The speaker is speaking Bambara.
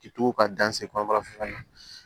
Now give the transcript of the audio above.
K'i to ka dan se kɔrɔ